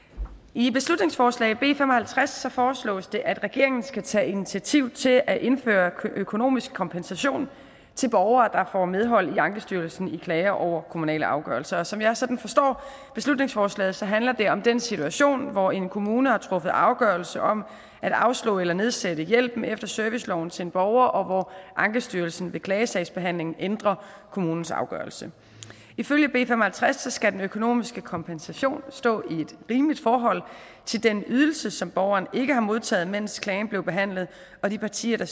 i beslutningsforslag b fem og halvtreds foreslås det at regeringen skal tage initiativ til at indføre økonomisk kompensation til borgere der får medhold i ankestyrelsen i klager over kommunale afgørelser og som jeg sådan forstår beslutningsforslaget handler det om den situation hvor en kommune har truffet afgørelse om at afslå eller nedsætte hjælpen efter serviceloven til en borger og hvor ankestyrelsen ved klagesagsbehandlingen ændrer kommunens afgørelse ifølge b fem og halvtreds skal den økonomiske kompensation stå i et rimeligt forhold til den ydelse som borgeren ikke har modtaget mens klagen blev behandlet og de partier